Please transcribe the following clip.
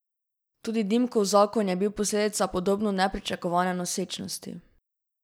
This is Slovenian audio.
Tudi Dimkov zakon je bil posledica podobno nepričakovane nosečnosti.